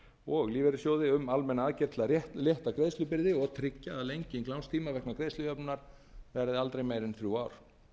og lífeyrissjóði um almennar aðgerðir til að létta greiðslubyrði og tryggja að lenging lánstíma vegna greiðslujöfnunar verði aldrei meiri en þrjú ár